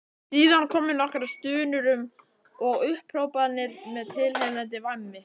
Síðan komu nokkrar stunur og upphrópanir með tilheyrandi væmni.